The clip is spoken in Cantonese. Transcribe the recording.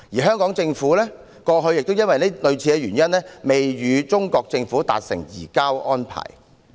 香港政府過去亦基於類似的原因，未能與中國政府達成移交安排。